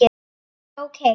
Það er alveg ókei.